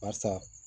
Barisa